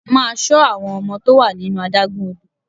Máa ṣọ àwọn ọmọ tó wà nínú adágún odò!